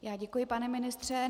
Já děkuji, pane ministře.